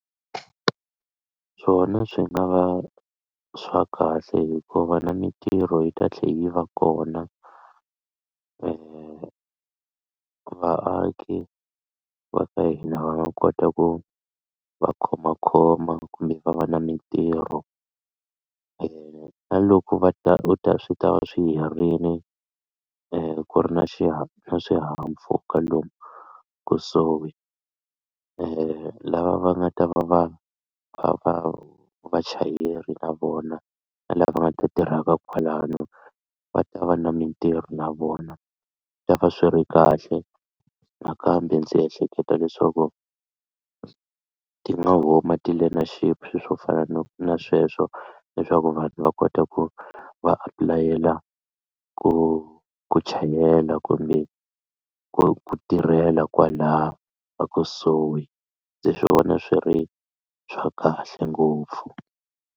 Swona swi nga va swa kahle hikuva na mitirho yi ta tlhela yi va kona vaaki va ka hina va kota ku va khomakhoma kumbe va va na mitirho na loko va ta u ta swi ta va swi herini ku ri na xihahampfhuka lomu kusuhi lava va nga ta va va va vachayeri na vona na lava va nga ta tirhaka kwalano va ta va na mitirho na vona va va swi ri kahle nakambe ndzi ehleketa leswaku ti nga huma ti-learnership swilo swo fana no na sweswo leswaku vanhu va kota ku a apulayela ku ku chayela kumbe ku tirhela kwalaho ekusuhi ndzi swi vona swi ri swa kahle ngopfu.